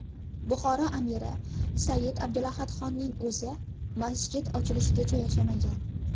Buxoro amiri Said Abdulahadxonning o‘zi masjid ochilishigacha yashamagan.